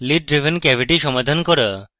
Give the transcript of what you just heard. lid driven cavity সমাধান করা